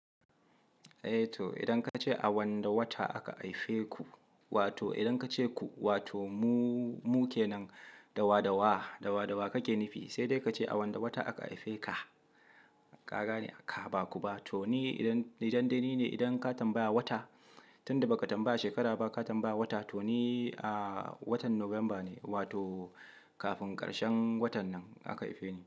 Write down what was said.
Eh to idan ka ce a wanne wata aka aife ku, wato idan ka ce ku, wato mu, mu kenan, dawa dawa, dawa dawa kake nufi. Sai dai ka ce a wanda wata aka aife ka. Kaga ne a ka, ba ku ba. To ni idan, ni dandani ne idan ka tambaya wata, tun da ba ka tambaya shekara ba, ka tambaya wata, to ni a watan November ne wato kafin karshen watan nan aka haife ni.